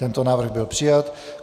Tento návrh byl přijat.